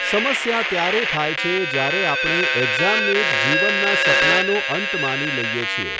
સમસ્યા ત્યારે થાય છે, જ્યારે આપણે એક્ઝામને જ જીવનનાં સપનાંનો અંત માની લઈએ છીએ.